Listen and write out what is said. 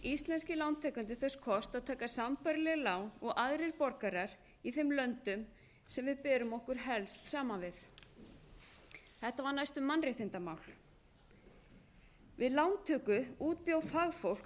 íslenskir lántakendur þess kost að taka sambærileg lán og aðrir borgarar í þeim löndum sem við berum okkur helst saman við þetta var næstum mannréttindamál við lántöku útbjó fagfólk